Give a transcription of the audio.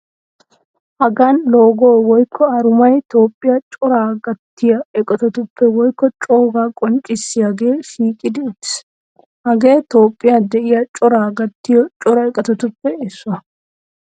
Hagan logo woykko arumay Toophphiya coraa gattiya eqotaappe woykko cogaa qonccissiyagee shiiqidi uttiis. Hagee Toophphiya de'iya coraa gattiyo cora eqotatuppe issuwa.